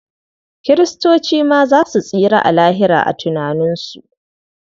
Kiristoci ma za su tsira a Lahira a tunaninsu.